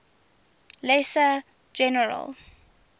lesser general